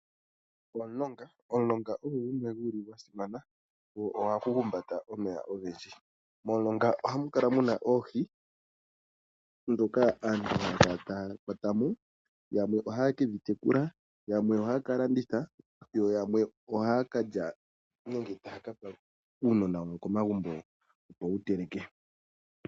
Omulonga ogo gumwe gu li gwa simana go ohagu humbata omeya ogendji. Momulonga ohamu kala mu na oohi ndhoka aantu haya kala taya kwata mo. Yamwe ohaye ke dhi tekula, yamwe ohaya ka landitha, yo yamwe ohaya ka lya nenge taa ka pa uunona wawo komagumbo, opo wu teleke.